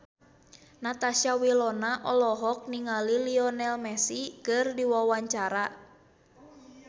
Natasha Wilona olohok ningali Lionel Messi keur diwawancara